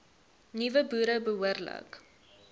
nuwe boere behoorlik